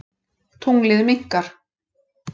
Tunglið minnkar.